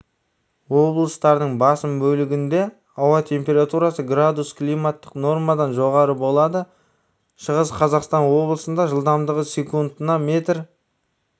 облыстардың басым бөлігінде ауа температурасы градус климаттық нормадан жоғары болады шығыс қазақстан облысында жылдамдығы секундына метр